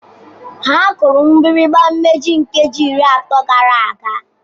Ha kụrụ mgbịrịgba mmechi nkeji iri atọ gara aga.